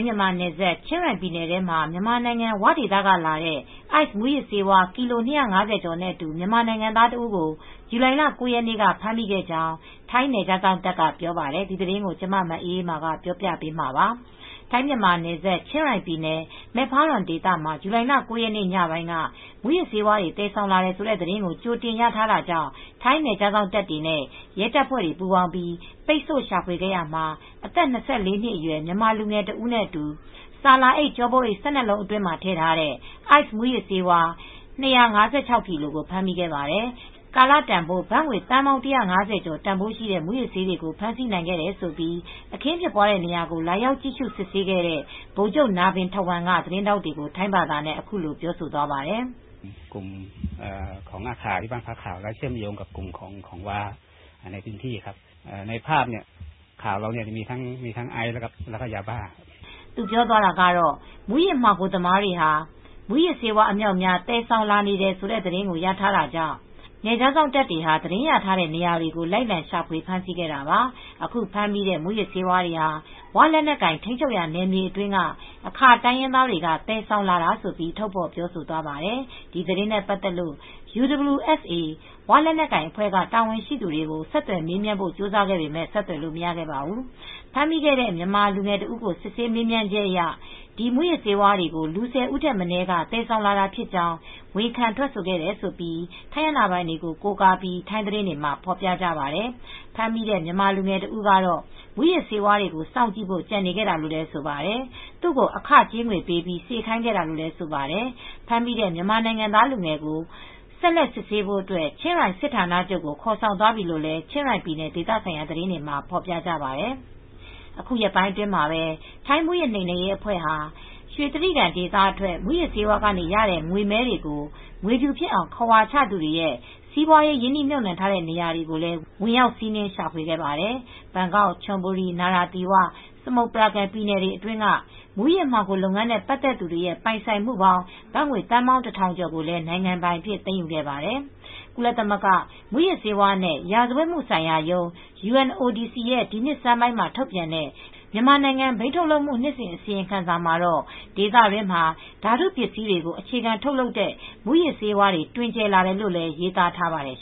ြန်မာနယ်စပ် ချင်းရိုင်ပြည်နယ်မှာ မြန်မာနိုင်ငံ ဝဒေသကလာတဲ့ အိုက်စ်မူးယစ်ဆေးဝါး ကီလို ၂၅၀ ကျော်နဲ့အတူ မြန်မာနိုင်ငံသားတဦးကို ဇူလိုင်လ ၉ ရက်နေ့က ဖမ်းမိကြောင်း ထိုင်းနယ်ခြားစောင့်တပ်က ပြောပါတယ်။ အပြည့်အစုံကို မအေးအေးမာ တင်ပြပေးထားပါတယ်။ ထိုင်း-မြန်မာနယ်စပ် ချင်းရိုင်ပြည်နယ် Mae Fah Luang ဒေသမှာ ဇူလိုင်လ ၉ ရက်နေ့ ညပိုင်းက မူးယစ်ဆေးတွေ သယ်ဆောင်လာတယ်ဆိုတဲ့ သတင်းကို ကြိုတင်ရထားတာကြောင့် ထိုင်းနယ်ခြားစောင့်တပ်နဲ့ ရဲတပ်ဖွဲ့တွေ ပူးပေါင်းပြီး ပိတ်ဆို့ရှာဖွေခဲ့ရာမှာ အသက် ၂၄ နှစ်အရွယ် မြန်မာလူငယ်တဦးနဲ့အတူ ဆာလာအိတ်၊ ကျောပိုးအိတ် ၁၂ လုံးအတွင်းမှာ ထည့်ထားတဲ့ အိုက်စ်မူးယစ်ဆေးဝါး ၂၅၆ ကီလို ဖမ်းမိခဲ့ပါတယ်။ ကာလတန်ဖိုး ဘတ်သန်း ၁၅၀ ကျော်တန်ဖိုးရှိတဲ့ မူးယစ်ဆေးတွေကို ဖမ်းဆီးနိုင်ခဲ့တယ်လို့ အခင်းဖြစ်ပွားတဲ့နေရာကို လာရောက် စစ်ဆေးကြည့်ရှုခဲ့တဲ့ ဗိုလ်ချုပ် Narvan Thawong က သတင်းထောက်တွေကို ထိုင်းဘာသာနဲ့ အခုလို ပြောဆိုသွားပါတယ်။ “မူးယစ်မှောင်ခိုသမားတွေ မူးယစ်ဆေး အမြောက်အမြား သယ်ဆောင်လာနေတဲ့ သတင်းကို ရထားတာကြောင့် နယ်ခြားစောင့်တပ်တွေဟာ သတင်းရထားတဲ့ နေရာတွေ လိုက်လံရှာဖွေ ဖမ်းဆီးခဲ့တာပါ။ အခုဖမ်းမိတဲ့ မူးယစ်ဆေးတွေဟာ ဝ လက်နက်ကိုင် ထိန်းချုပ်ထားရာ နယ်မြေအတွင်းက အာခါ တိုင်းရင်းသားတွေက သယ်ဆောင်လာတာ။” လို့ ထုတ်ဖော် ပြောဆိုသွားပါတယ်။ ဒီသတင်းနဲ့ပတ်သက်လို့ UWSA ဝလက်နက်ကိုင်အဖွဲ့က တာဝန်ရှိသူတွေကို ဆက်သွယ်မေးမြန်းဖို့ ကြိုးစားခဲ့ပေမယ့် ဆက်သွယ်လို့ မရခဲ့ပါဘူး။ ဖမ်းမိခဲ့တဲ့ မြန်မာလူငယ်တဦးကို စစ်ဆေးမေးမြန်းချက်အရ ဒီမူးယစ်ဆေးဝါးတွေကို လူ ၁၀ ဦးထက်မနည်းက သယ်ဆောင်လာတာဖြစ်ကြောင်း ဝန်ခံထွက်ဆိုခဲ့တယ်လို့ ထိုင်းအာဏာပိုင်တွေကို ကိုးကားပြီး ထိုင်းသတင်းတွေမှာ ဖော်ပြကြပါတယ်။ ဖမ်းမိတဲ့ မြန်မာလူငယ်တဦးကတော့ မူးယစ်ဆေးဝါးတွေကို စောင့်ကြည့်ဖို့ ကျန်နေခဲ့တာလို့ ဆိုပါတယ်။ သူ့ကို အခကြေးငွေပေးပြီး စေခိုင်းခဲ့တာလို့လည်း ဆိုပါတယ်။ ဖမ်းမိတဲ့ မြန်မာနိုင်ငံသား လူငယ်ကို ဆက်လက်စစ်ဆေးဖို့အတွက် ချင်းရိုင် စစ်ဌာနချုပ်ကို ခေါ်ဆောင်သွားပြီလို့လည်း ချင်းရိုင်ပြည်နယ် ဒေသဆိုင်ရာ သတင်းတွေမှာ ဖော်ပြကြပါတယ်။ အခုရက်ပိုင်းအတွင်းမှာပဲ ထိုင်းမူးယစ်နှိမ်နင်းရေးအဖွဲ့တွေဟာ ရွှေတြိဂံဒေသထွက် မူးယစ်ဆေးဝါးကရတဲ့ ငွေမည်းတွေကို ငွေဖြူဖြစ်အောင် ခဝါချသူတွေရဲ့ စီးပွားရေး ရင်းနှီးမြှုပ်နှံထားတဲ့ နေရာတွေကိုလည်း ဝင်ရောက်စီးနင်း ရှာဖွေခဲ့ပါတယ်။ ဘန်ကောက်၊ ချွန်ဘူရီ၊ နာရာသီဝ၊ စမုတ်ပရာကမ် ပြည်နယ်တွေအတွင်းက မူးယစ်မှောင်ခိုလုပ်ငန်းနဲ့ ပတ်သက်သူတွေရဲ့ ပိုင်ဆိုင်မှုပေါင်း ဘတ်ငွေသန်းပေါင်း ၁,၀၀၀ ကျော်ကိုလည်း နိုင်ငံပိုင်အဖြစ် သိမ်းယူခဲ့ပါတယ်။ ကုလသမဂ္ဂ မူးယစ်ဆေးဝါးနဲ့ ရာဇဝတ်မှုဆိုင်ရာရုံး ရဲ့ ဒီနှစ်ဆန်းမှာ ထုတ်ပြန်တဲ့ မြန်မာနိုင်ငံ ဘိန်းထုတ်လုပ်မှု နှစ်စဉ် အစီရင်ခံစာမှာတော့ ဒေသတွင်းမှာ ဓာတုပစ္စည်းတွေကို အခြေခံထုတ်လုပ်တဲ့ မူးယစ်ဆေးဝါးတွေ တွင်ကျယ်လာတယ်လို့လည်း ရေးသားထားပါတယ်